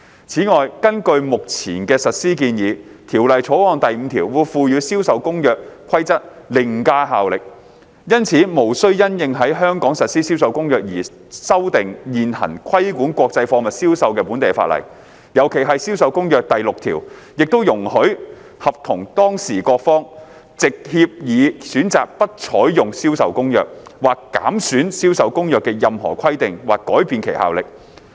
此外，根據目前的實施建議，《條例草案》第5條會賦予《銷售公約》規則凌駕效力，因此無需因應在香港實施《銷售公約》而修訂現行規管國際貨物銷售的本地法例，尤其是《銷售公約》第6條亦容許合同當事各方藉協議選擇不採用《銷售公約》，或減損《銷售公約》的任何規定或改變其效力。